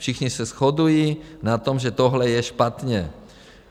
Všichni se shodují na tom, že tohle je špatně.